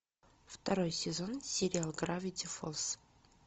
второй сезон сериал гравити фолз